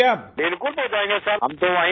راجیش پرجاپتی بالکل پہنچائیں گے سر